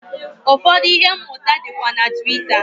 Ụfọdụ ihe mmụta dịkwa na Twitter.